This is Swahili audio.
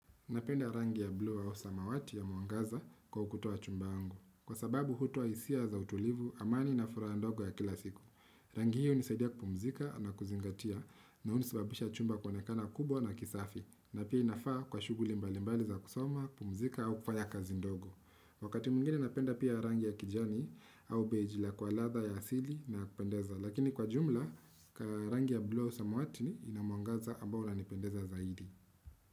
Napenda rangi ya bluu au samawati ya mwangaza kwa ukuta wa chumba yangu. Kwa sababu hutoa hisia za utulivu, amani na furaha ndogo ya kila siku. Rangi hii unisaidia kupumzika na kuzingatia na unisababisha chumba kuenekana kubwa na kisafi. Na pia inafaa kwa shughuli mbalimbali za kusoma, kupumzika au kufaya kazi ndogo. Wakati mwingine napenda pia rangi ya kijani au beijila kwa ladha ya asili na kupendeza. Lakini kwa ujumla, kwa rangi ya blu au samawati inamwangaza ambao unanipendeza zaidi.